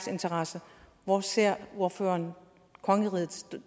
interesser hvor ser ordføreren kongeriget